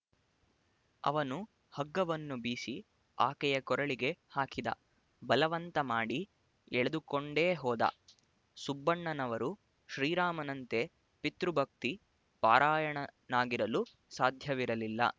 ಅವನು ಹಗ್ಗವನ್ನು ಬೀಸಿ ಆಕೆಯ ಕೊರಳಿಗೆ ಹಾಕಿದ ಬಲವಂತ ಮಾಡಿ ಎಳೆದುಕೊಂಡೇ ಹೋದ ಸುಬ್ಬಣ್ಣನವರು ಶ್ರೀರಾಮನಂತೆ ಪಿತೃಭಕ್ತಿ ಪರಾಯಣನಾಗಿರಲು ಸಾಧ್ಯವಿರಲಿಲ್ಲ